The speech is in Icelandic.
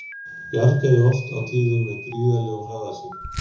Bjargaði oft á tíðum með gríðarlegum hraða sínum.